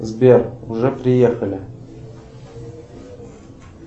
сбер уже приехали